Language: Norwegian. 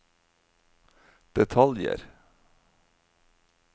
detaljer